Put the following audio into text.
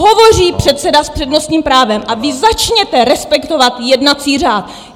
Hovoří předseda s přednostním právem a vy začněte respektovat jednací řád!